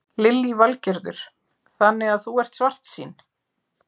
Lillý Valgerður: Þannig að þú ert svartsýn?